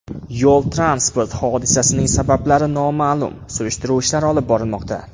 Yo‘l-transport hodisasining sabablari noma’lum, surishtiruv ishlari olib borilmoqda.